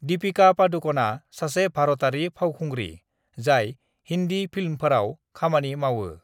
दीपिका पादुकणआ सासे भारतारि फावखुंग्रि जाय हिन्दी फिल्मफोराव खामानि मावो।